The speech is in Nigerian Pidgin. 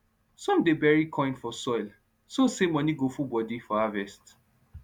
some dey bury coin for soil so say money go full body from harvest